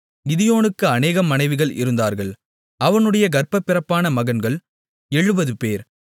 கிதியோனுக்கு அநேகம் மனைவிகள் இருந்தார்கள் அவனுடைய கர்ப்பப்பிறப்பான மகன்கள் எழுபதுபேர்